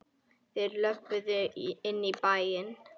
Þeir löbbuðu inn í bæinn.